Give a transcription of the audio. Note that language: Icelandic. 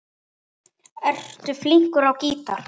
Ertu flinkur á gítar?